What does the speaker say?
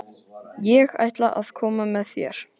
Ég ætla að koma með þér!